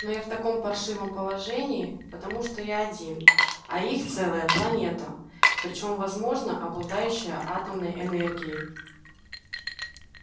но я в таком паршивом положении потому что я один а их целая планета причём возможно обладающая атомной энергией